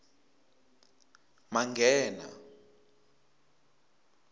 manghena